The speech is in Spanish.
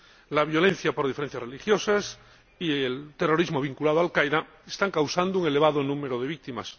La violencia por diferencias religiosas y el terrorismo vinculado a Al Qaeda están causando un elevado número de víctimas.